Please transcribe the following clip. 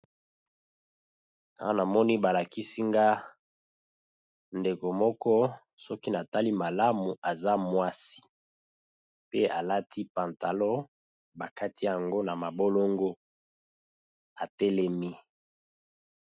Awa na moni ba lakisi nga ndeko moko soki na tali malamu aza mwasi , pe alati pantalon ba kati yango na mabolongo, a telemi .